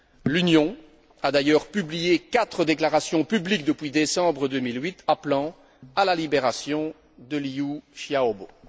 L'Union a d'ailleurs publié quatre déclarations publiques depuis décembre 2008, appelant à la libération de Liu Xiaobo.